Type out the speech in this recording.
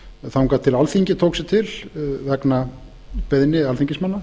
þangað til alþingi tók sig til vegna beiðni alþingismanna